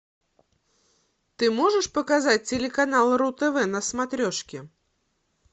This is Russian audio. ты можешь показать телеканал ру тв на смотрешке